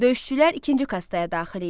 Döyüşçülər ikinci kastaya daxil idilər.